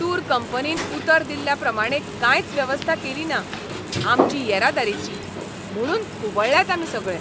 Tour कंपनीन उतर दिल्ल्या प्रमाणें कांयच वेवस्था केलिना आमची येरादारेची. म्हुणून खुबळ्ळ्यात आमी सगळे.